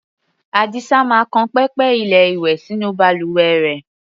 Àdìsá máa kan pẹpẹ-ilé-ìwẹ̀ sínú balùwẹ rẹ̀.